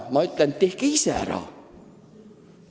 Ma ütlen, et tehke ise ära.